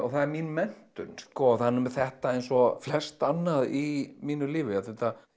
það er mín menntun það er nú með þetta eins og flest annað í mínu lífi að þetta